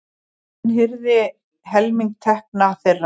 Hann hirði helming tekna þeirra.